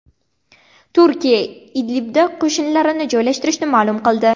Turkiya Idlibda qo‘shinlarini joylashtirishini ma’lum qildi.